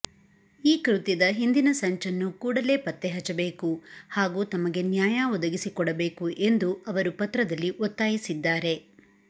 ಈ ಕೃತ್ಯದ ಹಿಂದಿನ ಸಂಚನ್ನು ಕೂಡಲೇ ಪತ್ತೆ ಹಚ್ಚಬೇಕು ಹಾಗೂ ತಮಗೆ ನ್ಯಾಯ ಒದಗಿಸಿಕೊಡಬೇಕು ಎಂದು ಅವರು ಪತ್ರದಲ್ಲಿ ಒತ್ತಾಯಿಸಿದ್ದಾರೆ